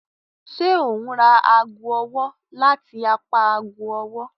Ṣe o n ra aago ọwọ lati apá aago ọwọ?